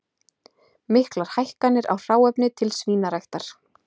Miklar hækkanir á hráefni til svínaræktar